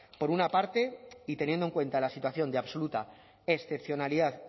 por una parte y teniendo en cuenta la situación de absoluta excepcionalidad